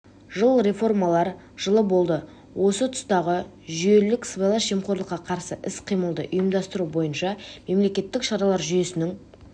жыл реформалар жылы болды осы жұмыстағы жүйелілік сыбайлас жемқорлыққа қарсы іс-қимылды ұйымдастыру бойынша мемлекеттік шаралар жүйесінің